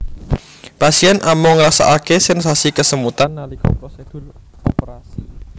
Pasien amung ngrasakaké sensasi kesemutan nalika prosedur operasi